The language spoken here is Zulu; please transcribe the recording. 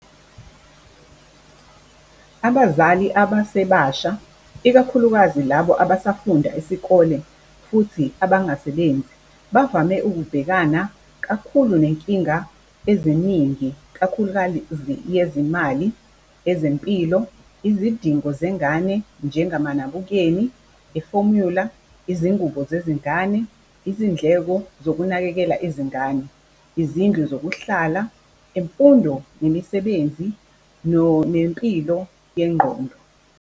Abazali abasebasha ikakhulukazi labo abasafunda isikole futhi abangasebenzi, bavame ukubhekana kakhulu nenkinga eziningi kakhulukazi yezimali, ezempilo, izidingo zengane, njengamanabukeni, i-formula, izingubo zezingane, izindleko zokunakekela izingane, izindlu zokuhlala, imfundo nemisebenzi nempilo yengqondo.